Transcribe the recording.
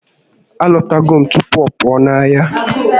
A lọtago m tupu ọ pụọ ahịa